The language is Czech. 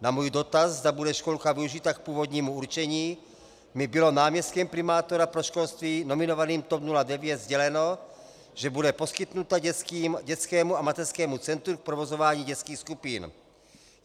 Na můj dotaz, zda bude školka využita k původnímu určení, mi bylo náměstkem primátora pro školství nominovaným TOP 09 sděleno, že bude poskytnuta dětskému a mateřskému centru k provozování dětských skupin.